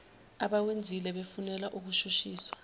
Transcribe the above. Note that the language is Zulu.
abawenzile befunelwa ukushushiswa